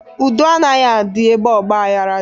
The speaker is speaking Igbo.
Udo anaghị adị n'ebe ọgbaghara dị.